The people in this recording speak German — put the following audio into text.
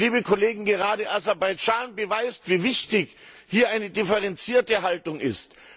Und, liebe Kollegen Gerade Aserbaidschan beweist, wie wichtig hier eine differenzierte Haltung ist.